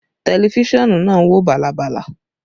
Tẹlifísàn náà ń wò bàlàbàlà